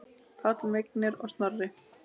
Páll, Vignir og Snorri.